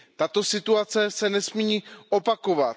Tato situace se nesmí opakovat.